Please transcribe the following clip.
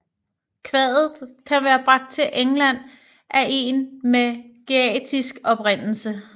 Kvadet kan være bragt til England af en med geatisk oprindelse